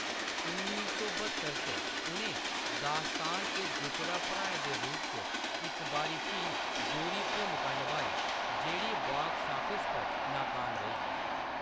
उन्नी सौ ब्हत्तर च, उʼनें दास्तान च जुटड़ा भ्राएं दे रूप च इक बारी फ्ही दोह्‌री भूमका नभाई, जेह्‌‌ड़ी बॉक्स ऑफिस पर नाकाम रेही।